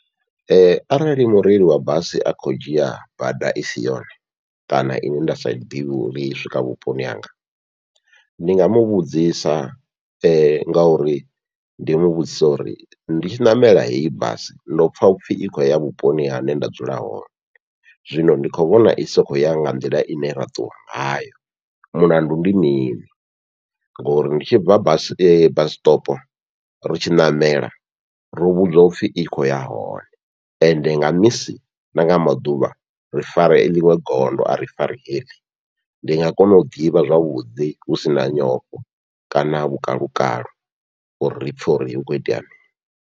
Arali mureili wa basi a khou dzhia bada isi yone kana ine nda sa ḓivhe uri I swika vhuponi hanga, ndi nga muvhudzisa ngauri ndi muvhudzise uri nditshi ṋamela heyi basi ndo pfha upfhi i khou ya vhuponi hune nda dzula hone. Zwino ndi khou vhona i sokou ya nga nḓila ine ra ṱuwa ngayo mulandu ndi mini, ngori ndi tshi bva basi basi stop ri tshi ṋamela ro vhudzwa upfhi i kho ya hone ende nga misi nanga maḓuvha ri fara ḽiṅwe gondo ari fari heḽi, ndi nga kona u ḓivha zwavhuḓi husina nyofho kana kha vhukalo uri ri pfhe uri hukho itea mini.